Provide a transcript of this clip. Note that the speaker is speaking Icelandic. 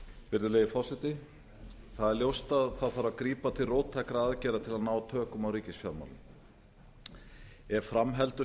virðulegi forseti það er ljóst að grípa þarf til róttækra aðgerða til að ná tökum á ríkisfjármálum ef fram heldur